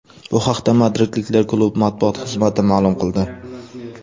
Bu haqda madridliklar klubi matbuot xizmati ma’lum qildi .